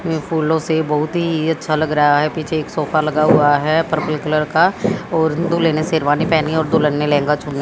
वे फूलों से बहुत ही अच्छा लग रहा है पीछे एक सोफा लगा हुआ है पर्पल कलर का और दूल्हे ने शेरवानी पहनी है और दुल्हन ने लहंगा चुन--